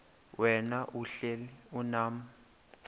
wena uhlel unam